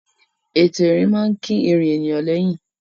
Ètò ìrìn máa ń kín ìrìn ènìyàn lẹ́yìn.